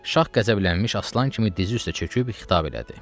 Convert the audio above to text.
Şah qəzəblənmiş aslan kimi dizi üstə çöküb xitab elədi.